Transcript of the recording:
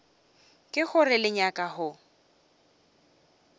ke gore le nyaka go